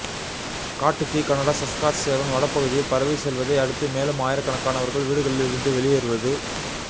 காட்டுத் தீ Canada Saskatchewan வடபகுதியில் பரவிச் செல்வதை அடுத்து மேலும் ஆயிரக்கணக்கானவர்கள் வீடுகளில் இருந்து வெளியேறுவது